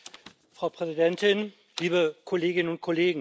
Frau Präsidentin, liebe Kolleginnen und Kollegen!